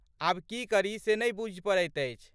आब की करी से नहि बूझि पड़ैत अछि।